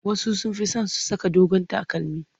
Wasu sun fi son su saka dogon takalmi.